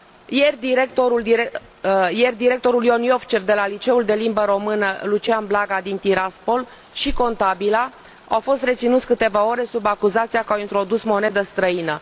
Ieri, directorul Ion Iovcev de la liceul de limbă română Lucian Blaga din Tiraspol și contabila, au fost reținuți câteva ore sub acuzația că au introdus monedă străină.